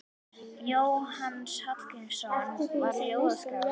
Jónas Hallgrímsson var ljóðskáld.